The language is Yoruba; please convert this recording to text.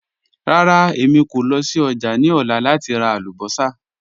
Rárá, èmi kò lọ sí ọ́jà̀ ni ọ̀lá láti rà àlùbọ́ṣà.